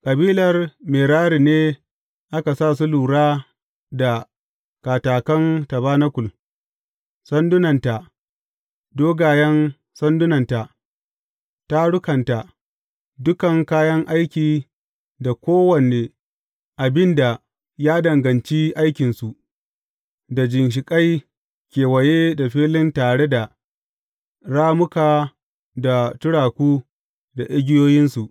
Kabilar Merari ne aka sa su lura da katakan tabanakul, sandunanta, dogayen sandunanta, tarukanta, dukan kayan aiki da kowane abin da ya danganci aikinsu, da ginshiƙai kewaye da filin tare da rammuka da turaku da igiyoyinsu.